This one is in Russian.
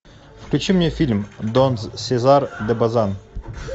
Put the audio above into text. включи мне фильм дон сезар де базан